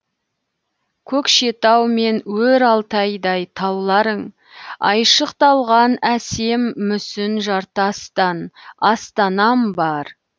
көкшетау мен өр алтайдай тауларың айшықталған әсем мүсін жартастан астанам бар